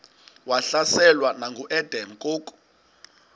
wahlaselwa nanguadam kok